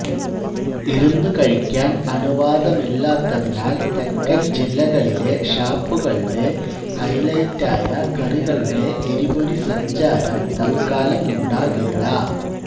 ഇരുന്ന് കഴിക്കാൻ അനുവാദമില്ലാത്തതിനാൽ തെക്കൻ ജില്ലകളിലെ ഷാപ്പുകളുടെ ഹൈലൈറ്റായ കറികളുടെ എരിപൊരി സഞ്ചാരം തത്കാലമുണ്ടാകില്ല